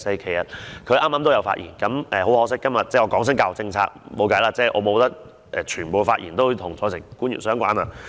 其實，他剛才也有發言，但很可惜，我們今天討論教育政策，卻沒有辦法，不可以所有發言都與在席官員相關。